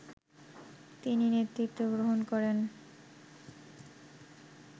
তিনি নেতৃত্ব গ্রহণ করেন